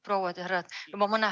Prouad ja härrad!